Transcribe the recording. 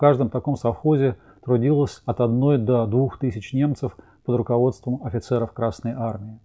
в каждом таком совхозе трудилось от одной до двух тысяч немцев под руководством офицеров красной армии